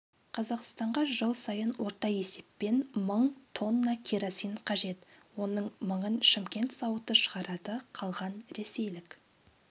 қазақстанға жыл сайын орта есеппен мың тонна керосин қажет оның мыңын шымкент зауыты шығарады қалған ресейлік